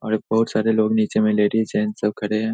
और बहुत सारे लोग नीचे में लेडीज जेंट्स सब खड़े हैं।